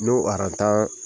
N'o aran tan